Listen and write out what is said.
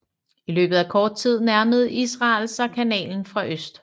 I løbet af kort tid nærmede Israel sig kanalen fra øst